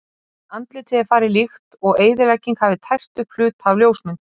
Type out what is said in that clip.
En andlitið er farið líkt og eyðilegging hafi tært upp hluta af ljósmynd.